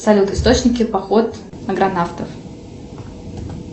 салют источники поход агронавтов